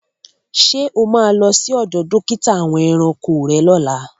Ṣé o má lọ sí ọdọ̀ dókítà àwọn ẹranko rẹ́ lọ́lá?